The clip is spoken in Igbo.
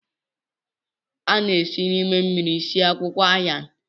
A na-esi n'ime mmiri sie akwụkwọ Ayan